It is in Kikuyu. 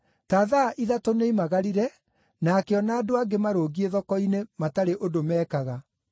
“Ta thaa ithatũ nĩoimagarire na akĩona andũ angĩ marũngiĩ thoko-inĩ matarĩ ũndũ meekaga.